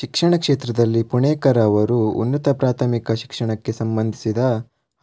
ಶಿಕ್ಷಣ ಕ್ಷೇತ್ರದಲ್ಲಿ ಪುಣೇಕರ ಅವರು ಉನ್ನತ ಪ್ರಾಥಮಿಕ ಶಿಕ್ಷಣಕ್ಕೆ ಸಂಬಂಧಿಸಿದ